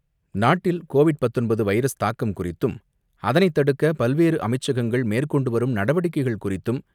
நாட்டில் கோவிட் பத்தொன்பது வைரஸ் தாக்கம் குறித்தும் அதனை தடுக்க பல்வேறு அமைச்சகங்கள் மேற்கொண்டு வரும் நடவடிக்கைகள் குறித்தும்,